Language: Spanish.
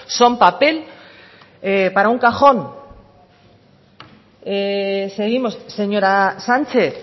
son papel para un cajón seguimos señora sánchez